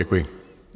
Děkuji.